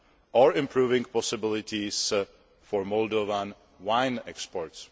and improving possibilities for Moldovan wine exports.